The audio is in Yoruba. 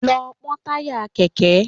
Lọ pọ́n táyà Kẹ̀kẹ́!